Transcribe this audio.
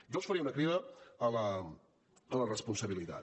jo els faria una crida a la responsabilitat